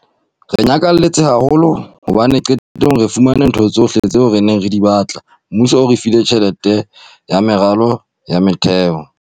"Re nyakalletse haholo hobane qetellong re fumane ntho tsohle tseo re neng re di batla. Mmuso o re file tjhelete ya meralo ya motheo."